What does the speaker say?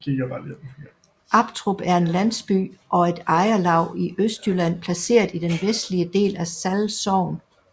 Aptrup er en landsby og et ejerlav i Østjylland placeret i den vestlige del af Sall Sogn